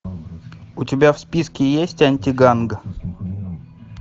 у тебя в списке есть антиганг